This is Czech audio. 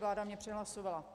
Vláda mě přehlasovala.